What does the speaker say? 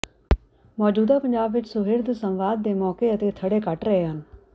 ਮੌਜੂਦਾ ਪੰਜਾਬ ਵਿੱਚ ਸੁਹਿਰਦ ਸੰਵਾਦ ਦੇ ਮੌਕੇ ਅਤੇ ਥੜ੍ਹੇ ਘਟ ਰਹੇ ਹਨ